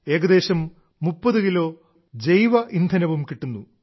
ഏകദേശം 30 കിലോ ജൈവ ഇന്ധനം കിട്ടുന്നു